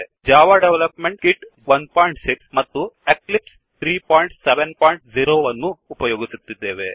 Java development kit ೧೬ ಮತ್ತು Eclipse 370 ಅನ್ನು ಉಪಯೋಗಿಸುತ್ತಿದ್ದೇವೆ